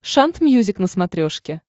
шант мьюзик на смотрешке